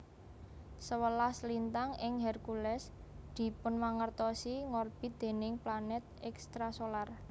Sewelas lintang ing Hercules dipunmangertosi ngorbit déning planet extrasolar